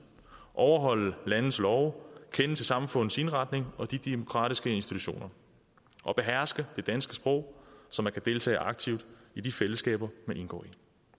overholde landets love kende til samfundets indretning og de demokratiske institutioner og beherske det danske sprog så man kan deltage aktivt i de fællesskaber man indgår i